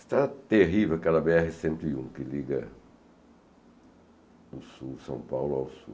Está terrível aquela bê erre cento e um, que liga o Sul, São Paulo ao Sul.